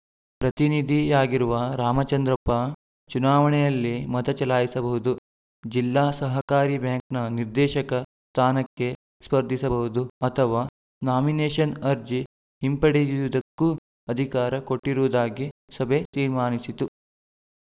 ಪ್ರತಿನಿಧಿಯಾಗಿರುವ ರಾಮಚಂದ್ರಪ್ಪ ಚುನಾವಣೆಯಲ್ಲಿ ಮತ ಚಲಾಯಿಸಬಹುದು ಜಿಲ್ಲಾ ಸಹಕಾರಿ ಬ್ಯಾಂಕ್‌ನ ನಿರ್ದೇಶಕ ಸ್ಥಾನಕ್ಕೆ ಸ್ಪರ್ಧಿಸಬಹುದು ಅಥವಾ ನಾಮಿನೇಷನ್‌ ಅರ್ಜಿ ಹಿಂಪಡೆಯುವುದಕ್ಕೂ ಅಧಿಕಾರ ಕೊಟ್ಟಿರುವುದಾಗಿ ಸಭೆ ತೀರ್ಮಾನಿಸಿತು